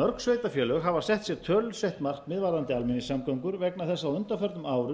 mörg sveitarfélög hafa sett sér tölusett markmið varðandi almenningssamgöngur vegna þess að á undanförnum árum